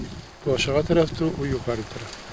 Bəli, o aşağı tərəfdir, o yuxarı tərəfdir.